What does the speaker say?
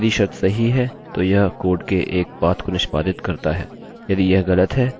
उदाहरणस्वरूप यह संरचना है